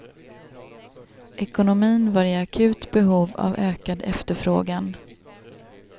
Ekonomin var i akut behov av ökad efterfrågan.